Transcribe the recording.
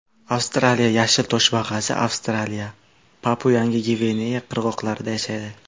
Avstraliya yashil toshbaqasi Avstraliya, PapuaYangi Gvineya qirg‘oqlarida yashaydi.